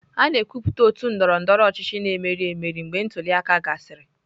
A na-ekwupụta otu ndọrọ ndọrọ ọchịchị na-emeri emeri mgbe ntuli aka gasịrị.